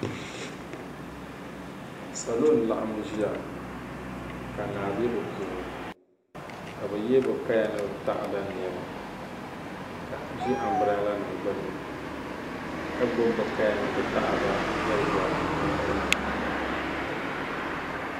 salo n-laɣim ʒia ka naa be bɛ puuni ka bɛ ye bɛ kaya ni bɛ taada niɛma ka ʒi ambrɛlanima gbunni ka gbubi bɛ kaya ni taada yɛlibɔra bɛ nuu ni